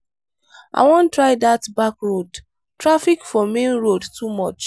i wan try dat back road traffic for main road too much.